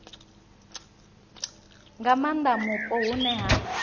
nga maanda mupo hune ha